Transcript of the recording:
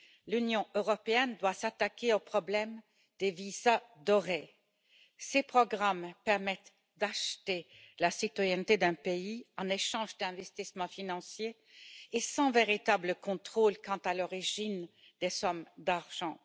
L'Union européenne doit s'attaquer au problème des visas dorés ces programmes permettent d'acheter la citoyenneté d'un pays en échange d'investissements financiers et sans véritable contrôle quant à l'origine des sommes d'argent.